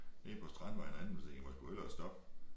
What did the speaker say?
Nede på Strandvejen herinde så tænkte jeg må sgu hellere stoppe